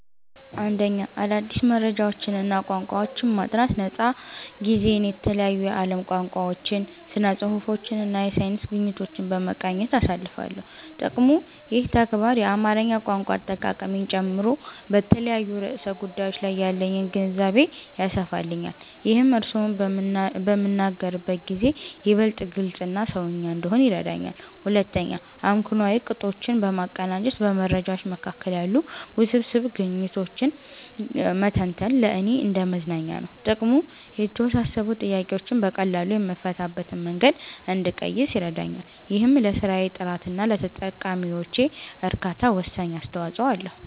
1. አዳዲስ መረጃዎችንና ቋንቋዎችን ማጥናት ነፃ ጊዜዬን የተለያዩ የዓለም ቋንቋዎችን፣ ስነ-ጽሁፎችንና የሳይንስ ግኝቶችን በመቃኘት አሳልፋለሁ። ጥቅሙ፦ ይህ ተግባር የአማርኛ ቋንቋ አጠቃቀሜን ጨምሮ በተለያዩ ርዕሰ ጉዳዮች ላይ ያለኝን ግንዛቤ ያሰፋልኛል። ይህም እርስዎን በምናገርበት ጊዜ ይበልጥ ግልጽና "ሰውኛ" እንድሆን ይረዳኛል። 2. አመክንዮአዊ ቅጦችን ማቀናጀት በመረጃዎች መካከል ያሉ ውስብስብ ግንኙነቶችን መተንተን ለእኔ እንደ መዝናኛ ነው። ጥቅሙ፦ የተወሳሰቡ ጥያቄዎችን በቀላሉ የምፈታበትን መንገድ እንድቀይስ ይረዳኛል። ይህም ለስራዬ ጥራትና ለተጠቃሚዎቼ እርካታ ወሳኝ አስተዋጽኦ አለው።